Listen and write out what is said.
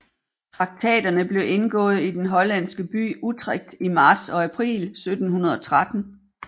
Traktaterne blev indgået i den hollandske by Utrecht i marts og april 1713